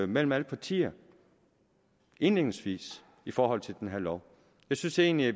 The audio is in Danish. mellem alle partier indledningsvis i forhold til den her lov jeg synes egentlig vi